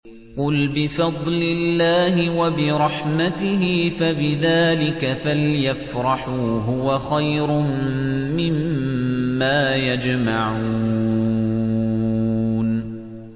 قُلْ بِفَضْلِ اللَّهِ وَبِرَحْمَتِهِ فَبِذَٰلِكَ فَلْيَفْرَحُوا هُوَ خَيْرٌ مِّمَّا يَجْمَعُونَ